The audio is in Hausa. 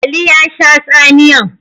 Ali ya sha tsamiyan.